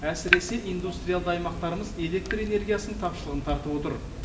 әсіресе индустриалды аймақтарымыз электр энергиясының тапшылығын тартып отыр